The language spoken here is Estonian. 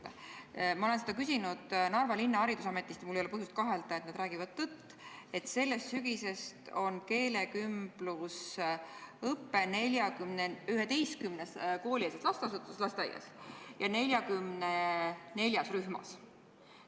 Ma olen selle kohta küsinud Narva haridusametist ja mul ei ole põhjust kahelda, et nad räägivad tõtt, öeldes, et sellest sügisest toimub keelekümblusõpe 11 koolieelses lasteasutuses, lasteaias, ja 44 rühmas.